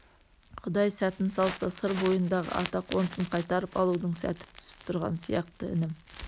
құдай сәтін салса сыр бойындағы ата қонысын қайтарып алудың сәті түсіп тұрған сияқты інім